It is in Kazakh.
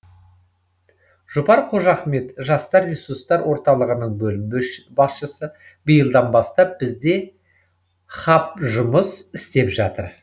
жұпар қожахмет жастар ресурстар орталығының бөлім басшысы биылдан бастап бізде хаб жұмыс істеп жатыр